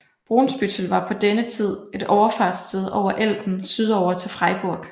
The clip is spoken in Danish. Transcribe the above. Brunsbüttel var på denne tid et overfartssted over Elben sydover til Freiburg